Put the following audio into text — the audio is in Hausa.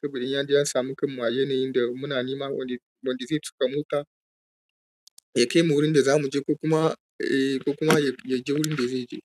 saboda in yaje yasamu kan mu a yanayin da muna nema wanda, wanda zai tuƙa mota ya kai mu wurin da zamuje kuma, e kuma yaje wurin da zaije.